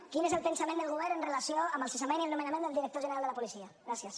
quin és el pensament del govern en relació amb el cessament i el nomenament del director general de la policia gràcies